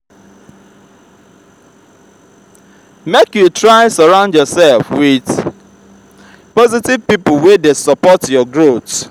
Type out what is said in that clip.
make you try surround yourself with positive people wey dey support your growth.